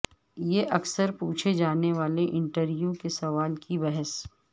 یہ اکثر پوچھے جانے والے انٹرویو کے سوال کی بحث